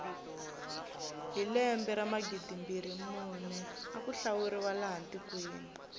hi lembe ra magidimbirhi mune aku hlawuriwa laha tikweni